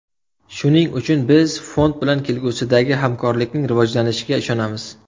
Shuning uchun biz fond bilan kelgusidagi hamkorlikning rivojlanishiga ishonamiz”.